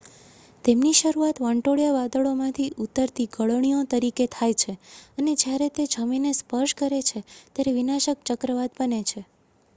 "તેમની શરૂઆત વંટોળિયા વાદળોમાંથી ઉતરતી ગળણીઓ તરીકે થાય છે અને જ્યારે તે જમીનને સ્પર્શ કરે ત્યારે "વિનાશક ચક્રવાત" બને છે.